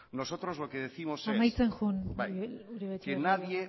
nosotros los que décimos es amaitzen jun uribe etxebarria jauna que nadie